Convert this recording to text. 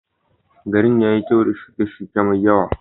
Garin ya yi kyau da shuke-shuke mai yawa.